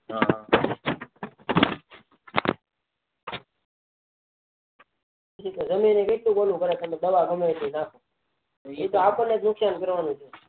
કે જમીન પણ ઓલું કેટલું કરે કે તમેં દવા ગમેતે નાખો એતો આપણે જ નુકસાન કરવાનું છે